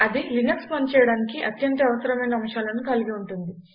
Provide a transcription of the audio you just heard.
అది లినక్స్ పనిచేయడానికి అత్యంత అవసరమైన అంశాలను కలిగి ఉంటుంది